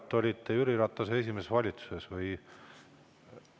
Kas te olite Jüri Ratase esimeses valitsuses või?